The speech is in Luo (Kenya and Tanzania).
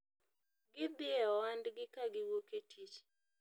gidhi e ohandgi kagiwuok e tich